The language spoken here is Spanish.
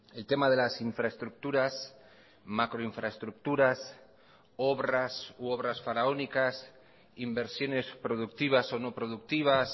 el tema de las infraestructuras macroinfraestructuras obras u obras faraónicas inversiones productivas o no productivas